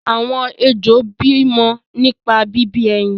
àwọn ejò bí mọ nípa bí bí ẹyin.